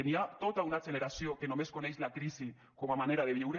hi ha tota una generació que només coneix la crisi com a manera de viure